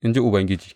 In ji Ubangiji.